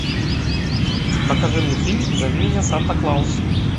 покажи мне фильм зови меня санта клаус